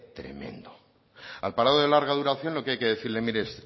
tremendo al parado de larga duración lo que hay que decirle mire